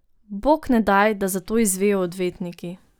Bog ne daj, da za to izvejo odvetniki.